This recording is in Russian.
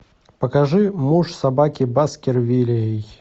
покажи муж собаки баскервилей